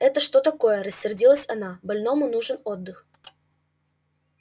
это что такое рассердилась она больному нужен отдых